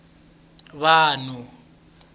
vanhu